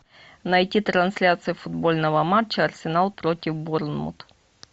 найти трансляцию футбольного матча арсенал против борнмут